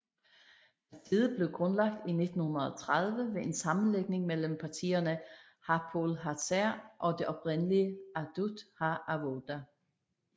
Partiet blev grundlagt i 1930 ved en sammenlægning mellem partierne Hapoel Hatzair og det oprindelige Ahdut HaAvoda